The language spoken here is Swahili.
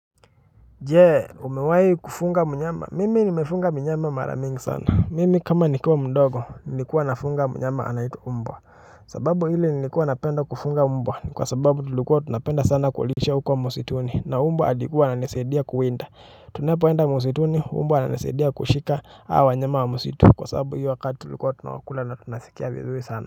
Je umewahi kufuga mnyama mimi nimefuga mnyama mara mingi sana mimi kama nikiwa mdogo nilikuwa nafuga mnyama anaitwa mbwa. Sababu ile nilikuwa napenda kufuga mbwa ni kwa sababu tulikuwa tunapenda sana kulisha huko msituni na mbwa alikuwa ananisaidia kuwinda. Tunepoenda msituni mbwa ananisaidia kushika hawa wanyama wa msitu kwa sababu hiyo wakati tulikuwa tunawakula na tunasikia vizuri sana.